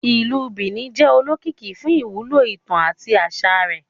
Ìlú Benin jẹ olókìkí fún ìwúlò ìtàn àti aṣa rẹ.